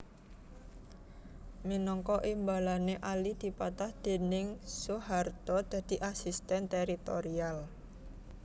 Minangka imbalané Ali dipatah déning Soeharto dadi Asisten Teritorial